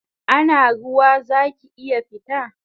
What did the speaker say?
Ana ruwa zaki iya fita?